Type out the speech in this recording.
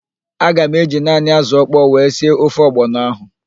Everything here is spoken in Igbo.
Aga m eji naanị ázụ̀ ọkpọọ wee sie ofe ọgbọnọ ahụ.